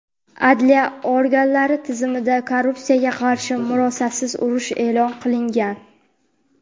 Adliya organlari tizimida korrupsiyaga qarshi murosasiz urush e’lon qilingan.